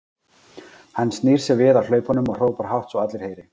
Hann snýr sér við á hlaupunum og hrópar hátt svo að allir heyri